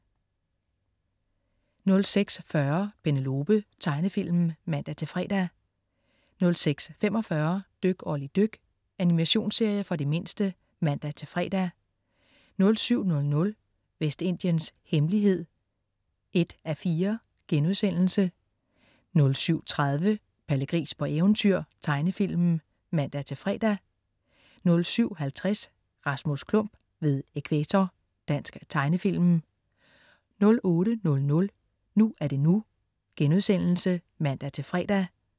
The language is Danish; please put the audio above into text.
06.40 Penelope. Tegnefilm (man-fre) 06.45 Dyk Olli dyk. Animationsserie for de mindste (man-fre) 07.00 Vestindiens hemmelighed 1:4* 07.30 Palle Gris på eventyr. Tegnefilm (man-fre) 07.50 Rasmus Klump ved Ækvator. Dansk tegnefilm 08.00 NU er det NU* (man-fre)